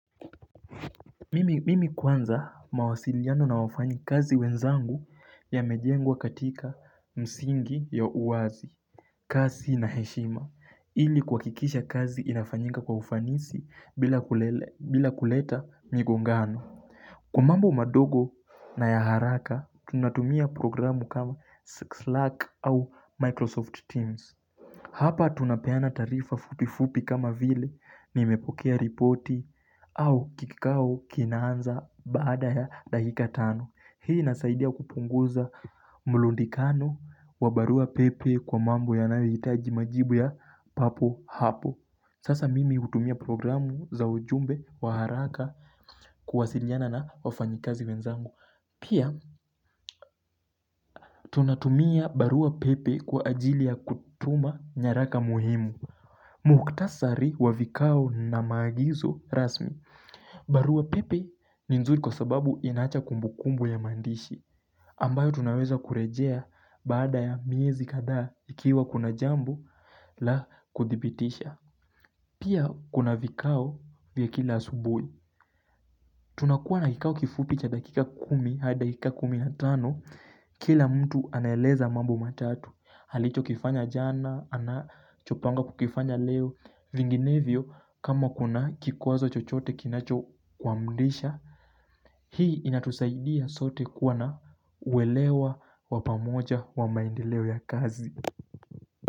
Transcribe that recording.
Mimi kwanza mawasiliano na wafanyikazi wenzangu ya mejengwa katika msingi ya uwazi kazi na heshima ili kuhakikisha kazi inafanyika kwa ufanisi bila kuleta migongano Kwa mambo madogo na ya haraka tunatumia programu kama Slack au Microsoft Teams Hapa tunapeana taarifa fupifupi kama vile nimepokea ripoti au kikao kinaanza baada ya dakika tano. Hii inasaidia kupunguza mulundikano wa barua pepe kwa mambo yanayoitaji majibu ya papo hapo. Sasa mimi hutumia programu za ujumbe wa haraka kuwasiliana na wafanyikazi wezangu. Pia, tunatumia barua pepe kwa ajili ya kutuma nyaraka muhimu. Mukhtasari wa vikao na maagizo rasmi barua pepe ni nzuri kwa sababu inaacha kumbukumbu ya maandishi. Ambayo tunaweza kurejea baada ya miezi kadhaa ikiwa kuna jambo la kudhibitisha Pia kuna vikao vya kila asubui tunakuwa na kikao kifupi cha dakika kumi hadi dakika kumi na tano. Kila mtu anaeleza mambo matatu halicho kifanya jana, anachopanga kukifanya leo. Vinginevyo kama kuna kikwazo chochote kinacho kwa mdisha Hii inatusaidia sote kuwa na uwelewa wa pamoja wa maendeleo ya kazi.